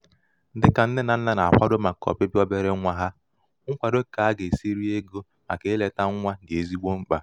dịkà ndị nnē nà nnà nà-àkwado màkà ọ̀bịbị̀à obere ṅwā hā ṅkwado kà a gà-èsi ri egō màkà ilētā nwa dị̀ ezigbo mkpà